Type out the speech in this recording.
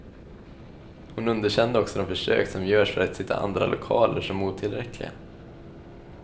Hon underkände också de försök som görs för att hitta andra lokaler som otillräckliga.